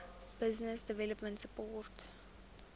business development support